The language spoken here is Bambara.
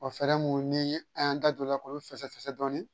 fɛɛrɛ mun ni an y'an da don o la k'olu fɛsɛ fɛsɛ dɔɔnin